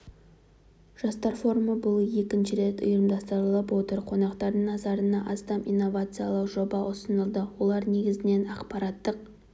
жастар форумы биыл екінші рет ұйымдастырылып отыр қонақтардың назарына астам инновациялық жоба ұсынылды олар негізінен ақпараттық